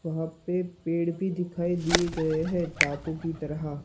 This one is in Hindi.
वहां पे पेड़ भी दिखाई दिए गए हैं टापू की तरह--